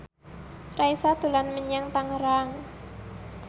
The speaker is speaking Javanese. Raisa dolan menyang Tangerang